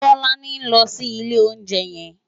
Tolani ló ni ilé óunjè yèn